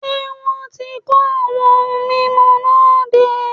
Ṣé wọn ti kó àwọn ohun mímu náà dé?